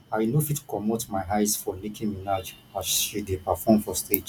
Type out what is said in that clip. i no fit comot my eyes from nicki minaj as she dey perform for stage